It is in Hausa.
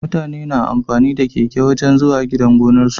Mutane na amfani da keke wajan zuwa gidan gonar su